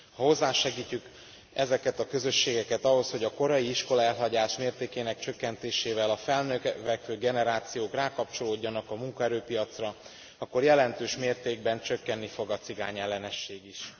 Ha hozzásegítjük ezeket a közösségeket ahhoz, hogy a korai iskolaelhagyás mértékének csökkentésével a felnövekvő generációk rákapcsolódjanak a munkaerőpiacra, akkor jelentős mértékben csökkenni fog a cigányellenesség is.